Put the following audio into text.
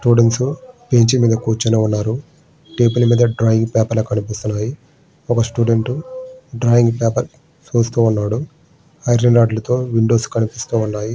Students bench మీద కూర్చుని ఉన్నారు. టేబుల్ మీద డ్రాయింగ్ డ్రాయింగ్ పేపర్ లు కనిపిస్తున్నాయి. ఒక స్టూడెంట్ ఒక డ్రాయింగ్ పేపర్ డ్రా చేస్తూ ఉన్నాడు. ఐరన్ రాగులతోని కిటికీలు కనిపిస్తున్నాయి.